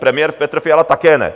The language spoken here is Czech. Premiér Petr Fiala také ne.